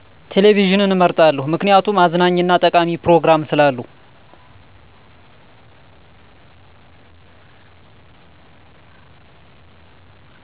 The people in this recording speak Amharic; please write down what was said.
ቴሌቪዥን እመርጣለሁ ምክንያቱም አዝናኝ እና ጠቃሚ ፕሮግራም ስላለው